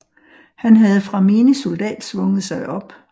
Han havde fra menig soldat svunget sig op